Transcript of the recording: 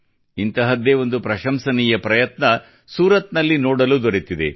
ಇಂತಹದ್ದೇ ಒಂದು ಪ್ರಶಂಸನೀಯ ಪ್ರಯತ್ನ ಸೂರತ್ ನಲ್ಲಿ ನೋಡಲು ದೊರೆತಿದೆ